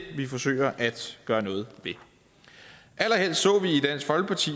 vi forsøger at gøre noget ved allerhelst så